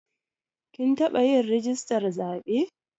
Kin taɓa yin rijistar zaɓe